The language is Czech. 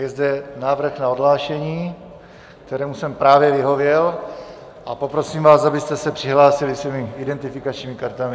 Je zde návrh na odhlášení, kterému jsem právě vyhověl, a poprosím vás, abyste se přihlásili svými identifikačními kartami.